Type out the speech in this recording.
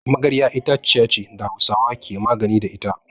Magarya itaciya ce da Hausawa ke magani da ita.